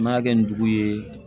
N m'a kɛ nin dugu ye